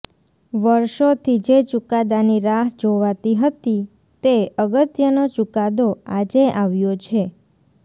વર્ષોથી જે ચુકાદાની રાહ જોવાતી હતી તે અગત્યનો ચુકાદો આજે આવ્યો છે